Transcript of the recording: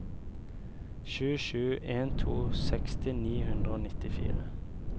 sju sju en to seksti ni hundre og nittifire